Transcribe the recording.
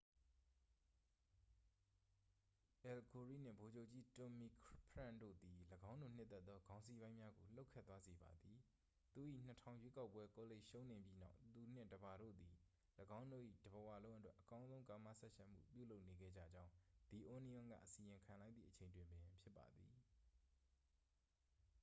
အယ်လ် ဂိုရိနှင့် ဗိုလ်ချုပ်ကြီး တွမ်မီဖရန့်ခ် တို့သည် ၎င်းတို့နှစ်သက်သောခေါင်းစီးပိုင်းများကို လှုပ်ခတ်သွားစေပါသည် သူ၏ ၂၀၀၀ ရွေးကောက်ပွဲကောလိပ်ရှုံးနိမ့်ပြီးနောက် သူနှင့် တစ်ပါတို့သည် ၎င်းတို့၏တစ်ဘဝလုံးအတွက် အကောင်းဆုံးကာမစပ်ယှက်မှု ပြုလုပ်နေခဲ့ကြကြောင်း the onion က အစီရင်ခံလိုက်သည့်အချိန်တွင်ပင်ဖြစ်ပါသည်။